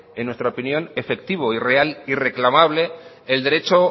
que en nuestra opinión efectivo y real y reclamable el derecho